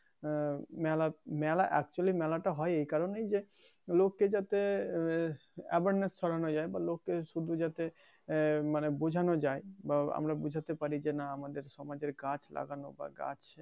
আহ মেলা মেলা actually মেলাটা হয় এই কারনেই যে লক্ষ্যে যাতে awareness ছড়ানো যায় বা লক্ষ্যে শুধু যাতে মানে বুঝানো যায় বা আমরা বুঝাতে পারি যে না আমাদের সমাজে গাছ লাগানো বা গাছ